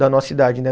Da nossa idade, né?